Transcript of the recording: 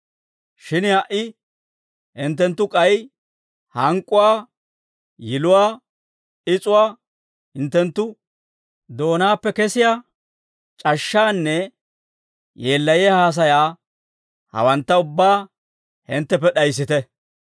Shin ha"i hinttenttu k'ay hank'k'uwaa, yiluwaa, is'uwaa, hinttenttu doonaappe kesiyaa c'ashshaanne yeellayiyaa haasayaa hawantta ubbaa hintteppe d'ayissite.